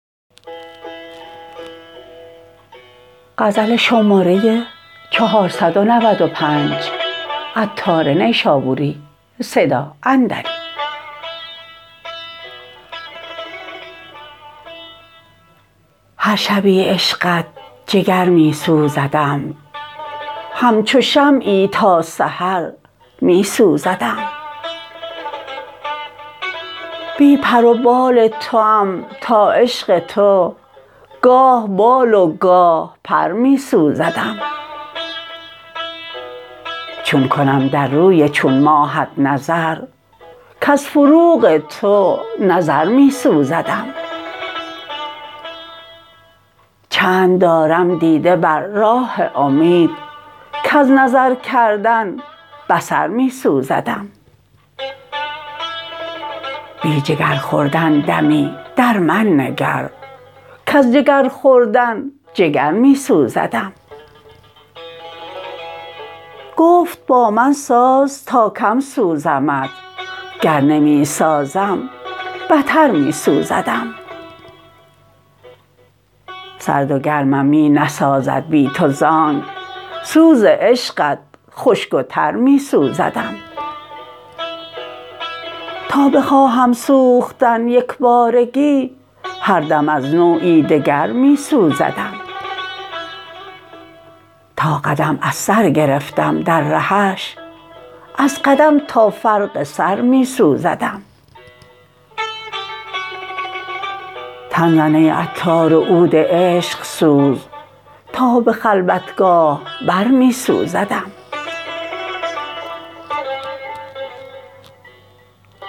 هر شبی عشقت جگر می سوزدم همچو شمعی تا سحر می سوزدم بی پر و بال توام تا عشق تو گاه بال و گاه پر می سوزدم چون کنم در روی چون ماهت نظر کز فروغ تو نظر می سوزدم چند دارم دیده بر راه امید کز نظر کردن بصر می سوزدم بی جگر خوردن دمی در من نگر کز جگر خوردن جگر می سوزدم گفت با من ساز تا کم سوزمت گر نمی سازم بتر می سوزدم سرد و گرمم می نسازد بی تو زانک سوز عشقت خشک و تر می سوزدم تا بخواهم سوختن یکبارگی هر دم از نوعی دگر می سوزدم تا قدم از سر گرفتم در رهش از قدم تا فرق سر می سوزدم تن زن ای عطار و عود عشق سوز تا به خلوتگاه بر می سوزدم